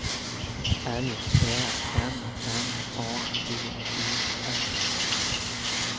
L Ä M N A D E S